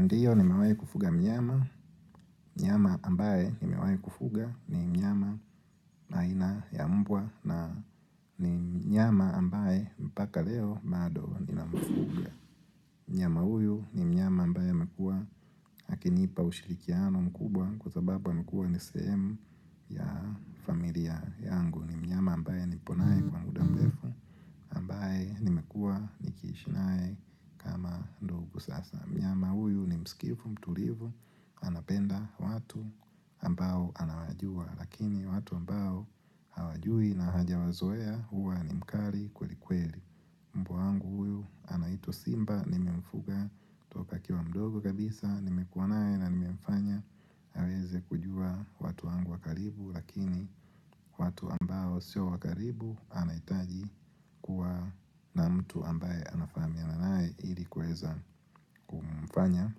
Ndiyo nimewai kufuga mnyama, mnyama ambaye nimewai kufuga ni mnyama aina ya mbwa na ni mnyama ambaye mpaka leo bado nina mfuga. Mnyama uyu ni mnyama ambaye amekua akinipa ushirikiano mkubwa kwa sababu amekua ni sehemu ya familia yangu. Ni mnyama ambaye nipo naye kwa muda ni mkua niishi nae kama ndugu sasa. Mnyama huyu ni msikifu mturivu, anapenda watu ambao anawajua, lakini watu ambao hawajui na haja wazoya huwa ni mkali kweli kweli. Mbwa wangu huyu anaitwa simba, nimemfuga toka akiwa mdogo kabisa, nimekuwa nae na nimemfanya, aweze kujua watu wangu wa karibu, lakini watu ambao sio wakaribu anaitaji kuwa na mtu ambaye anafamia nae ili kweza mfanya.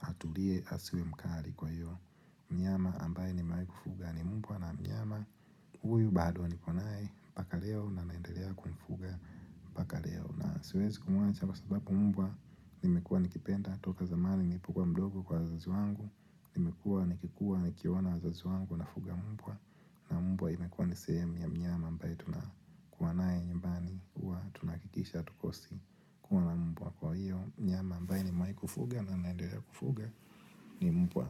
Atulie asiwe mkali kwa hiyo mnyama ambaye ni maikufuga ni mbwa na mnyama huyu badaa niko naye Paka leo na naendelea kwa mfuga Paka leo na siwezi kumwacha Kwa sababu mmbwa nimekua nikipenda toka zamani nipukwa mdogo kwa wazazi wangu Nimekua nikikua nikiona wazazi wangu na fuga mbwa na mbwa imekua nisemi ya mnyama ambaye tunakukisha tukosi Kwa na mbwa kwa hiyo mnyama ambaye ni maikufuga na naendelea kufuga ni mbwa.